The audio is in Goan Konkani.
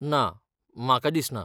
ना, म्हाका दिसना.